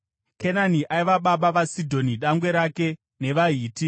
Kenani aiva baba vaSidhoni dangwe rake, nevaHiti,